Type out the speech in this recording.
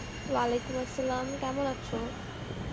Arbi কেমন আছো?